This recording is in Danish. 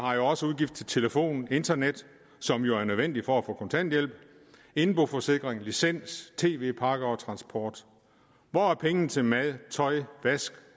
har også udgifter til telefon og internet som jo er nødvendigt for at få kontanthjælp indboforsikring licens tv pakker og transport hvor er pengene til mad tøj og vask